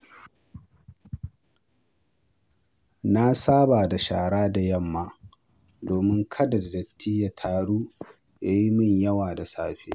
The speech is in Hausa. Na saba da shara da yamma domin kada datti ya taru ya yi yawa da safe.